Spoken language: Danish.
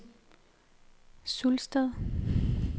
Sulsted